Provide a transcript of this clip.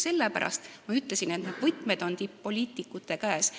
Sellepärast ma ütlesingi, et võtmed on tipp-poliitikute käes.